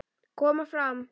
Koma fram!